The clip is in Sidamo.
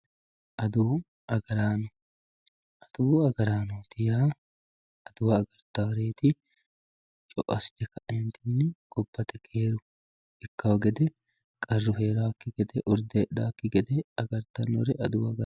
Aduwu agaraano aduwu agaranooti yaa aduwa agartaworet co`o asite kaentini yateeni gonate keeru ikawo qarru herawoki gede te`o hedhawoki gede agartanore aduwu agaranoti yinani.